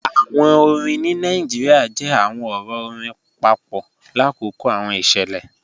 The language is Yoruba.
Awọn orin ni Nigeria jẹ awọn ọrọ ọ̀rìn papọ lakoko awọn iṣẹlẹ.